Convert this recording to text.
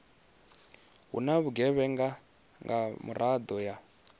na vhugevhenga nga miraḓo ya